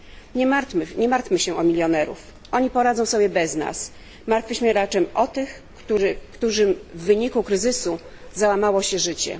Nie martwmy się o milionerów, oni poradzą sobie bez nas, martwmy się raczej o tych, którym w wyniku kryzysu załamało się życie.